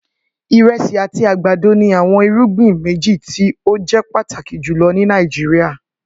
Iresi ati agbado ni awọn irugbin meji ti o jẹ pataki julọ ni Nigeria